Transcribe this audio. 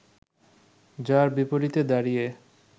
যার বিপরীতে দাঁড়িয়ে